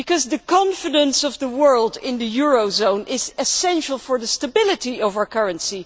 The confidence of the world in the eurozone is essential for the stability of our currency